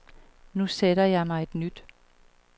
Nu sætter jeg mig et nyt.